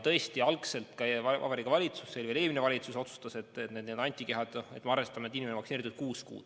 Tõesti, algselt Vabariigi Valitsus – see oli veel eelmine valitsus – otsustas, et me arvestame, et inimene on vaktsineeritud, kuue kuu jooksul.